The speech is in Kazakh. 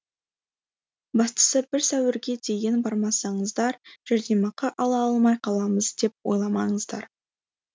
бастысы бір сәуірге дейін бармасаңыздар жәрдемақы ала алмай қаламыз деп ойламаңыздар